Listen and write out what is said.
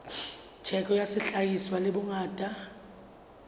theko ya sehlahiswa le bongata